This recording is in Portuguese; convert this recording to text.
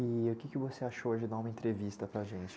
E o que que você achou de dar uma entrevista para a gente?